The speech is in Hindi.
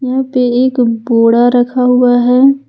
यहां पे एक बोड़ा रखा हुआ है।